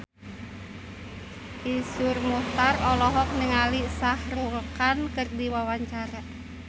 Iszur Muchtar olohok ningali Shah Rukh Khan keur diwawancara